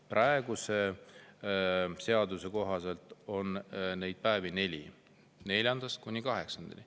Praeguse seaduse kohaselt on neid päevi neli, neljandast kuni kaheksandani.